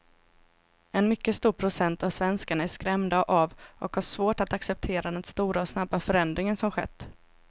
En mycket stor procent av svenskarna är skrämda av och har svårt att acceptera den stora och snabba förändring som skett.